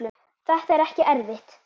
Þetta er ekki erfitt.